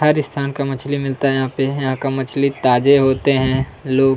हर स्थान का मछली मिलता है यहाँ पे यहाँ का मछली ताजा होते हैं लोग--